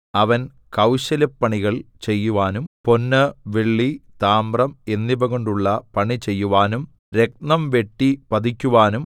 അവൻ കൗശലപ്പണികൾ ചെയ്യുവാനും പൊന്ന് വെള്ളി താമ്രം എന്നിവകൊണ്ടുള്ള പണി ചെയ്യുവാനും രത്നം വെട്ടി പതിക്കുവാനും